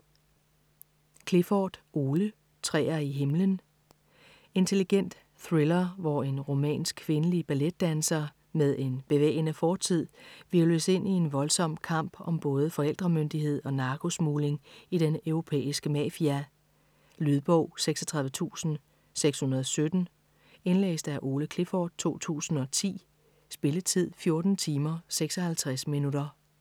Clifford, Ole: Træer i himlen Intelligent thriller, hvor en rumænsk kvindelig balletdanser med en bevægende fortid hvirvles ind i en voldsom kamp om både forældremyndighed og narkosmugling i den europæiske mafia. Lydbog 36617 Indlæst af Ole Clifford, 2010. Spilletid: 14 timer, 56 minutter.